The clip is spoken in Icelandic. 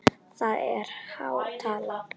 Það er há tala.